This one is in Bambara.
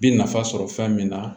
Bi nafa sɔrɔ fɛn min na